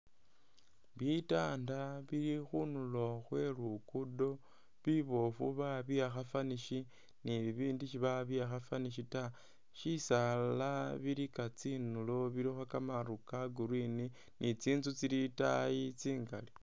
Bitanda bili khundulo khwe lugudo, bibofu babiwakha vanish ni bibindi si babiwakha vanish ta, bisaala bilika tsindulo bilikho kamaru ka green ni tsintsu tsili itayi tsingali.